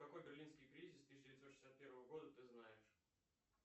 какой берлинский кризис тысяча девятьсот шестьдесят первого года ты знаешь